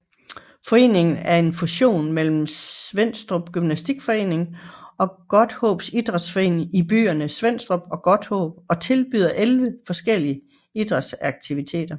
Foreningen er en fusion mellem Svenstrup Gymnastikforening og Godthaab Idrætsforening i byerne Svenstrup og Godthåb og tilbyder 11 forskellige idrætsaktiviteter